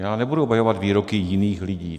Já nebudu obhajovat výroky jiných lidí.